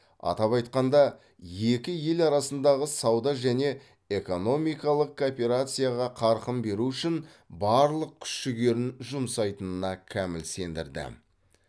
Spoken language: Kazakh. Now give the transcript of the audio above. атап айтқанда екі ел арасындағы сауда және экономикалық кооперацияға қарқын беру үшін барлық күш жігерін жұмсайтынына кәміл сендірді